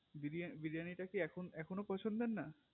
বিরিয়ানি বিরিয়ানি টা কি এখনো এখনো পছন্দের না